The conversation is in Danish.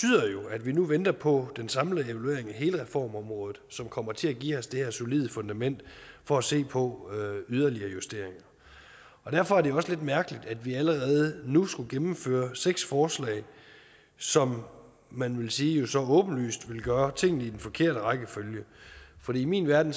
at vi nu venter på den samlede evaluering af hele reformområdet som kommer til at give os det her solide fundament for at se på yderligere justeringer derfor er det også lidt mærkeligt at vi allerede nu skulle gennemføre seks forslag som man vil sige jo så åbenlyst vil gøre tingene i den forkerte rækkefølge fordi i min verden